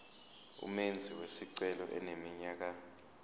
umenzi wesicelo eneminyaka